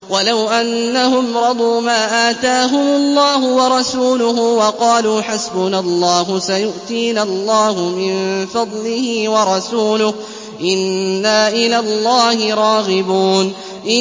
وَلَوْ أَنَّهُمْ رَضُوا مَا آتَاهُمُ اللَّهُ وَرَسُولُهُ وَقَالُوا حَسْبُنَا اللَّهُ سَيُؤْتِينَا اللَّهُ مِن فَضْلِهِ وَرَسُولُهُ إِنَّا إِلَى اللَّهِ رَاغِبُونَ